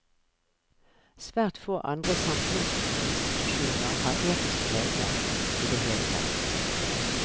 Svært få andre samfunnsinstitusjoner har etiske regler i det hele tatt.